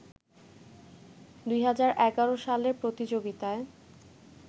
২০১১ সালের প্রতিযোগিতায়